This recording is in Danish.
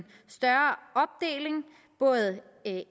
større opdeling både